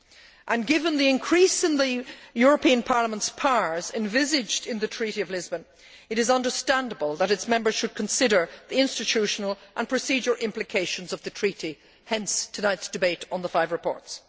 And, given the increase in the European Parliament's powers envisaged in the Treaty of Lisbon, it is understandable that its Members should consider the institutional and procedural implications of the Treaty, hence tonight's debate on the five reports.